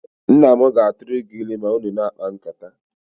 Nna m ga-atụrụ gị ilu ma unu na-akpa nkata